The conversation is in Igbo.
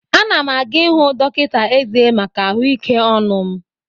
Anam aga ihụ dọkịta ezé maka ahụike ọnụ m.